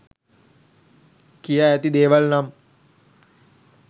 කියා ඇති දේවල් නම්